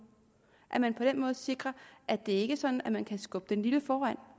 at man på den måde sikrer at det ikke er sådan at man kan skubbe den lille foran